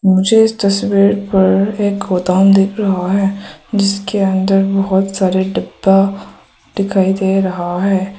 मुझे इस तस्वीर पर एक गोडाउन दिख रहा है जिसके अंदर बहुत सारे डिब्बा दिखाई दे रहा है।